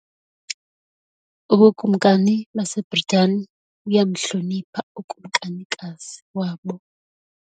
Ubukumkani baseBritani buyamhlonipha ukumkanikazi wabo.